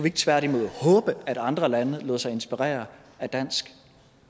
ikke tværtimod håbe at andre lande lod sig inspirere af dansk